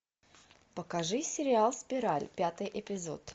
покажи сериал спираль пятый эпизод